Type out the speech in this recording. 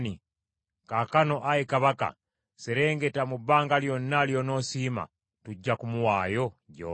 Kaakano, ayi kabaka, serengeta mu bbanga lyonna ly’onoosiima, tujja kumuwaayo gy’oli.”